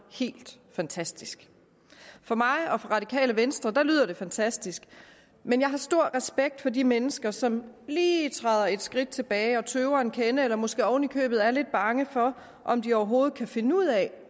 helt fantastisk for mig og for radikale venstre lyder det fantastisk men jeg har stor respekt for de mennesker som lige træder et skridt tilbage og tøver en kende eller måske oven i købet er lidt bange for om de overhovedet kan finde ud af